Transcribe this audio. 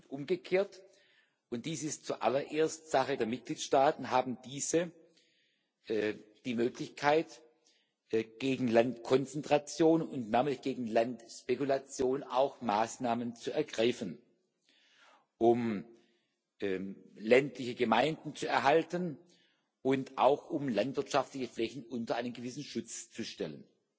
Und umgekehrt und dies ist zuallererst Sache der Mitgliedstaaten haben diese die Möglichkeit, gegen Landkonzentration und damit gegen Landspekulation auch Maßnahmen zu ergreifen, um ländliche Gemeinden zu erhalten, und auch, um landwirtschaftliche Flächen unter einen gewissen Schutz zu stellen.